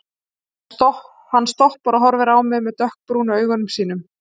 Hann stoppar og horfir á mig með dökkbrúnu augunum sínum.